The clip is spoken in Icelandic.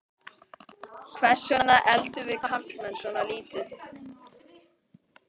Hvers vegna eldum við karlmenn svona lítið?